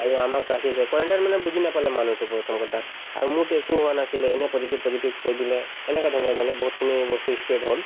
আৰু আমাক ৰাখিছে quarantine মানে বুজি নাপালে মানুহটোক প্ৰথম কথা আৰু মোৰতো একো হোৱা নাছিলে এনে positive positive কৈ দিলে এনেকাধৰণৰ মানে বহুতখিনি বস্তু ই spread হল